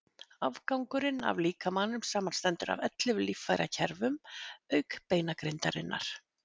afgangurinn af líkamanum samanstendur af ellefu líffærakerfum auk beinagrindarinnar